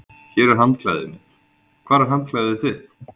Hér er handklæðið mitt. Hvar er handklæðið þitt?